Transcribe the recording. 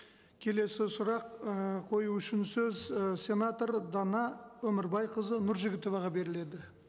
келесі сұрақ ы қою үшін сөз і сенатор дана өмірбайқызы нұржігітоваға беріледі